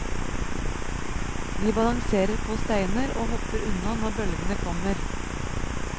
De balanserer på steiner, og hopper unna når bølgene kommer.